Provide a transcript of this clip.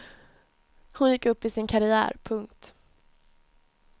Hon gick upp i sin karriär. punkt